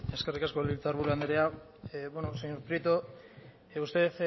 eskerrik asko legebiltzar buru anderea señor prieto usted